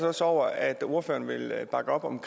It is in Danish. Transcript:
os over at ordføreren vil bakke op om